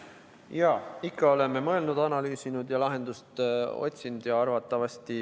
Jaa, ikka oleme mõelnud, analüüsinud ja lahendust otsinud.